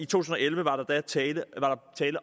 tusind og elleve var der tale